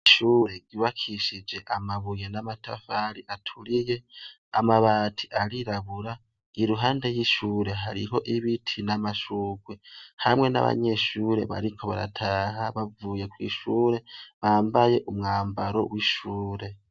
Ishure ryubakishije amabuye n'amatafari aturiye, amabati arirabira. Iruhande y'ishuri hariho ibiti n'amashurwe hamwe n'abanyeshuri bariko barataha bava kw'ishuri bambaye umwambaro w'ishuri.